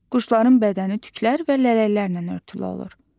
Quşların bədəni tüklər və lələklərlə örtülü olur.